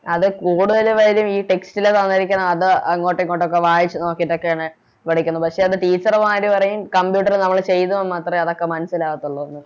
അതെ കൂടെയൊരു കാര്യം ഈ Text ല് തന്നിരിക്കുന്നത് അത് അങ്ങോട്ടും ഇങ്ങോട്ടും ഒക്കെ വായിച്ച് നോക്കിട്ടൊക്കെയാണ് പഠിക്കുന്നത് പക്ഷെ അന്ന് Teacher മാര് പറയും Computer നമ്മള് ചെയ്താൽ മാത്രേ അതൊക്കെ മനസിലാകത്തൊള്ളൂ ന്ന്